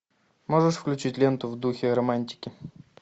можешь включить ленту в духе романтики